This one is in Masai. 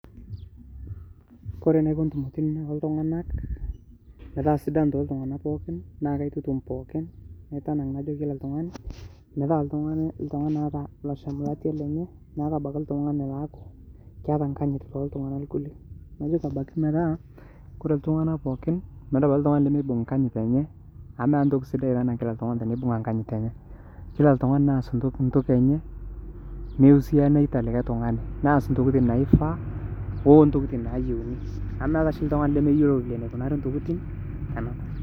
Oore enaiko intumoritin oltung'anak metaa sidan toltung'anak pooki, naa kaitutum pookin, naitanang' aaduo kila oltung'ani nalo abaiki oltung'ani laa keeta enkanyit toltung'anak lenye. Oore iltung'anak pooki amuu meeta oltung'ani lemeibung enkanyit eenye amuu meetae entoki eetipat enaa oltung'ani loibung' enkanyit eenye kila oltung'ani neibung' enkanyit eenye nias intokitin nayieuni. Amuu meeta oshi oltung'ani lemeyiolo eneikunari intokitin.